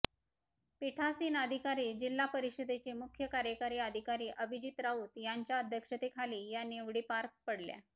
पीठासीन अधिकारी जिल्हा परिषदेचे मुख्य कार्यकारी अधिकारी अभिजित राऊत यांच्या अध्यक्षतेखाली या निवडी पार पडल्या